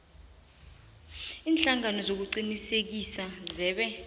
ziinhlangano zokuqinisekisa zebee